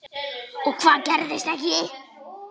Og hvað gerðist ekki.